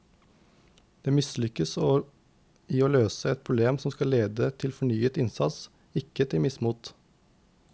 Det å mislykkes i å løse et problem skal lede til fornyet innsats, ikke til mismot.